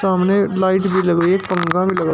सामने लाइट भी लगी है एक पंखा भी लगा--